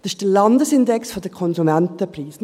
Das ist der Landesindex der Konsumentenpreise.